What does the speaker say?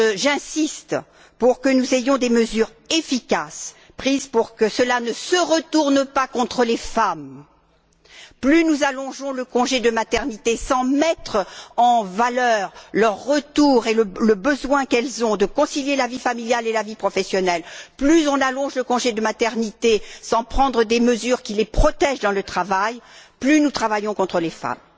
J'insiste pour que des mesures efficaces soient prises afin que cela ne se retourne pas contre les femmes. Plus nous allongeons le congé de maternité sans mettre en valeur leur retour et le besoin qu'elles ont de concilier la vie familiale et la vie professionnelle, plus nous allongeons le congé de maternité sans prendre des mesures qui les protègent dans le travail, plus nous travaillons contre les femmes.